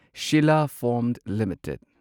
ꯁꯤꯂꯥ ꯐꯣꯝ ꯂꯤꯃꯤꯇꯦꯗ